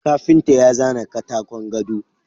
Kafinta ya zana katakon gado.